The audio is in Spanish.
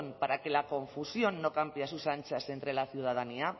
para que la confusión no campe a sus anchas entre la ciudadanía